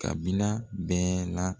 Kabila bɛɛ la.